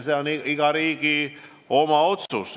See on iga riigi oma otsus.